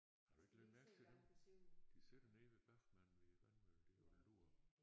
Har du ikke lagt mærke til det? De sidder nede ved Bachmann ved vandløbet der og lurer